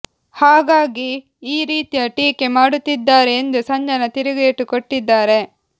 ಹಾಗಾಗಿ ಈ ರೀತಿಯ ಟೀಕೆ ಮಾಡುತ್ತಿದ್ದಾರೆ ಎಂದು ಸಂಜನಾ ತಿರುಗೇಟು ಕೊಟ್ಟಿದ್ದಾರೆ